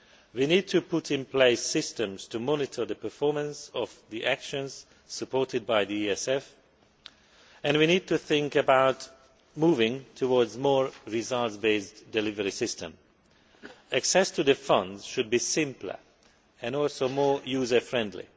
We need to put in place systems to monitor the performance of the actions supported by the ESF and we need to think about moving to more results based delivery systems. Access to the funds should be simpler and also more user friendly.